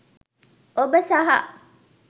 ඔබ සහ